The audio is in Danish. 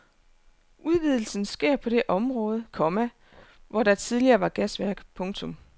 Udvidelsen sker på det område, komma hvor der tidligere var gasværk. punktum